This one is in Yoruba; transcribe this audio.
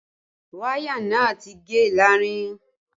Wáyà náà ti gé láàrin